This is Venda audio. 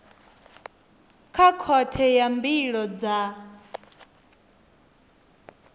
kha khothe ya mbilo dza